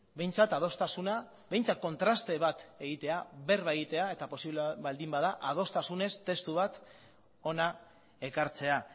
behintzat adostasuna behintzat kontraste bat egitea berba egitea eta posible baldin bada adostasunez testu bat hona ekartzea